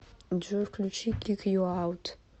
джой включи кик ю аут